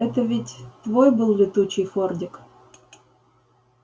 это ведь твой был летучий фордик